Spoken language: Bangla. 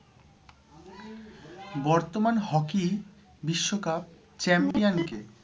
বর্তমান hockey বিশ্বকাপ champion কে?